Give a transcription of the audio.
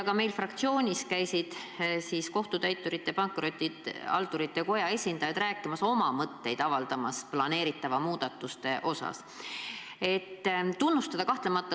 Ka meie fraktsioonis käisid Kohtutäiturite ja Pankrotihaldurite Koja esindajad avaldamas oma mõtteid planeeritavatest muudatustest.